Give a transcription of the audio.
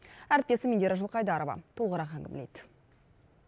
әріптесім индира жылқайдарова толығырақ әңгімелейді